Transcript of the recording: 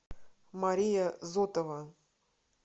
мария зотова